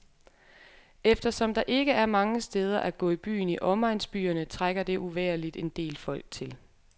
Eftersom der ikke er mange steder at gå i byen i omegnsbyerne, trækker det uvægerligt en del folk til.